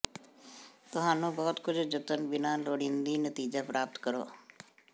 ਤੁਹਾਨੂੰ ਬਹੁਤ ਕੁਝ ਜਤਨ ਬਿਨਾ ਲੋੜੀਦੀ ਨਤੀਜਾ ਪ੍ਰਾਪਤ ਕਰੋ